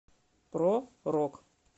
про рок